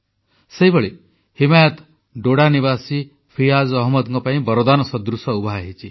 ସେହିଭଳି ହିମାୟତ ଡୋଡା ନିବାସୀ ଫିୟାଜ୍ ଅହମଦଙ୍କ ପାଇଁ ବରଦାନ ସଦୃଶ ଉଭାହୋଇଛି